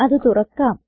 അത് തുറക്കാം